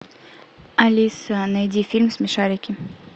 алиса найди фильм смешарики